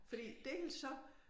Fordi dels så